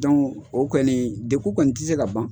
o kɔni degun kɔni tɛ se ka ban.